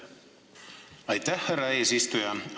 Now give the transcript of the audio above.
Aitäh, härra eesistuja!